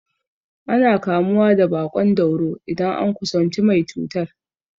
Ana kamuwa da baƙon dauro idan an kusanci mai cutar.